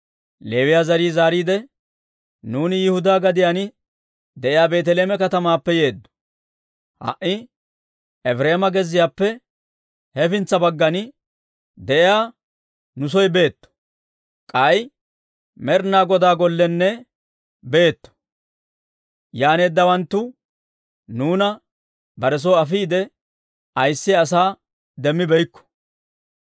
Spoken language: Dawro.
Leewiyaa zarii zaariide, «Nuuni Yihudaa gadiyaan de'iyaa Beeteleeme katamaappe yeeddo. Ha"i Efireema gezziyaappe hefintsa baggan de'iyaa nu soy boytte; k'ay Med'inaa Godaa Gollekka boytte. Yaaneeddawanttu nuuna bare soy afiide ayissiyaa asaa demmibeykko.